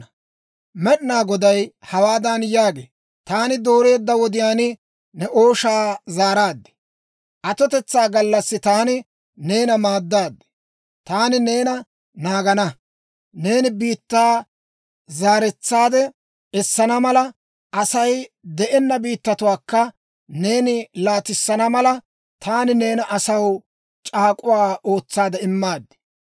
Med'inaa Goday hawaadan yaagee; «Taani dooreedda wodiyaan ne ooshaa zaaraad. Atotetsaa gallassi taani neena maaddaad. Taani neena naagana; neeni biittaa zaaretsaade essana mala, Asay de'enna biittatuwaakka neeni laatissana mala, taani neena asaw c'aak'uwaa ootsaade immaad.